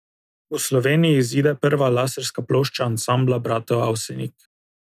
V Sloveniji izide prva laserska plošča Ansambla bratov Avsenik.